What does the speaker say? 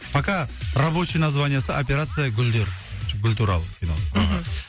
пока рабочий названиесі операция гүлдер гүл туралы кино мхм